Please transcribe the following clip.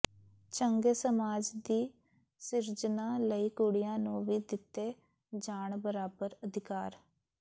ਚੰਗੇ ਸਮਾਜ ਦੀ ਸਿਰਜਨਾ ਲਈ ਕੁੜੀਆਂ ਨੂੰ ਵੀ ਦਿੱਤੇ ਜਾਣ ਬਰਾਬਰ ਅਧਿਕਾਰ